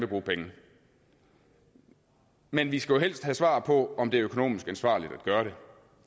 bruge penge men vi skulle helst have svar på om det er økonomisk ansvarligt at gøre det